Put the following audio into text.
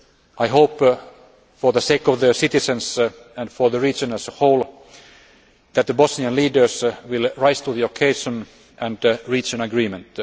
this. I hope, for the sake of the citizens and for the region as a whole, that the Bosnian leaders will rise to the occasion and reach an